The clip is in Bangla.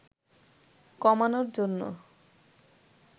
কমানোর জন্য